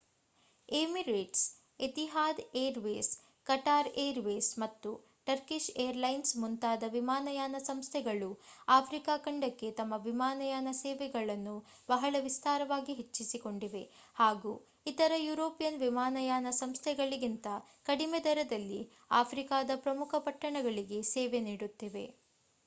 Emirates Etihad airways Qatar airways ಮತ್ತು Turkish airlines ಮುಂತಾದ ವಿಮಾನಯಾನ ಸಂಸ್ಥೆಗಳು ಆಫ್ರಿಕಾ ಖಂಡಕ್ಕೆ ತಮ್ಮ ವಿಮಾನಯಾನ ಸೇವೆಗಳನ್ನು ಬಹಳ ವಿಸ್ತಾರವಾಗಿ ಹೆಚ್ಚಿಸಿಕೊಂಡಿವೆ ಹಾಗೂ ಇತರ ಯುರೋಪಿಯನ್ ವಿಮಾನಯಾನ ಸಂಸ್ಥೆಗಳಿಗಿಂತ ಕಡಿಮೆ ದರಗಳಲ್ಲಿ ಆಫ್ರಿಕಾದ ಪ್ರಮುಖ ಪಟ್ಟಣಗಳಿಗೆ ಸೇವೆ ನೀಡುತ್ತಿವೆ